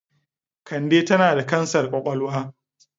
Kande tana da kansar kwakwalwa.